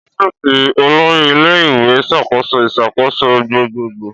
Ọfíìsì olori ile-iwe n ṣakoso iṣakoso gbogbogbo.